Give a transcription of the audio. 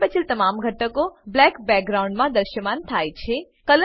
બાકી બચેલ તમામ ઘટકો બ્લેક બેકગ્રાઉન્ડમાં દ્રશ્યમાન થાય છે